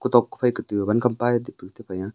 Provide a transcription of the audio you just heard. kutok kuphai katu wankam pae taipu tepai a.